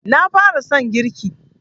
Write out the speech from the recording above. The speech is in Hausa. Na fara son girki